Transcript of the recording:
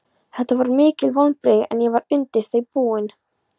Þetta voru mikil vonbrigði en ég var undir þau búinn.